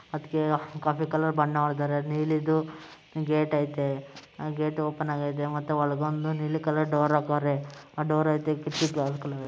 ಅದಕ್ಕೆ coffee colour ಬಣ್ಣ ಹೊಡೆದಿದ್ದಾರೆ ನೀಲಿದು ಗೇಟ್ ಅಯ್ತೆ ಆ ಗೇಟ್ ಓಪನ್ ಆಗೈತೆ ಮತ್ತೆ ಒಂದು ನೀಲಿ ಕಲರ್ ಡೋರ್ ಹಾಕಿದ್ದಾರೆ ಡೋರ್ ಪಕ್ಕ ಕಿಟಕಿಗಳು ಇದ್ದಾವೆ.